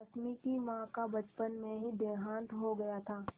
रश्मि की माँ का बचपन में ही देहांत हो गया था